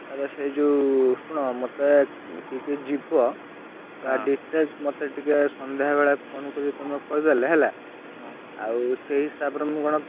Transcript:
ଆର ସେଇଯୋଉ ଶୁଣ ମତେ କିଏ କି ଯିବ? ତାର details ମତେ ଟିକେ ସନ୍ଧ୍ୟାବେଳେ phone କରିକି ତମେ କହିଦେଲେ ହେଲା ଆଉ ସେଇହିସାବରେ ମୁଁ କଣ।